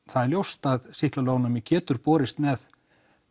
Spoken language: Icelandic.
það er ljóst að sýklalyfjaónæmi getur borist með